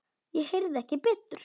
Ég heyrði ekki betur.